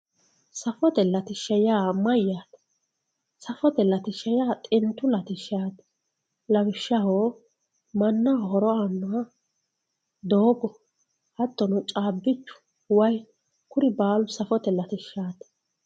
Safote latishsha yaa mayyate, safote latishshi yaa xintu latishshati lawishshaho mannaho horo aanoha doogo hattono caabbichu waa kuri baalu safote latishshati.